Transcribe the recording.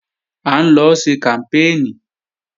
À ń lọ ṣe kàmpéènì